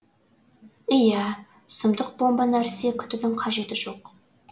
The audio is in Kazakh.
иә сұмдық бомба нәрсе күтудің қажеті жоқ